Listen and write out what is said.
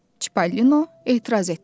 Çippolino etiraz etdi.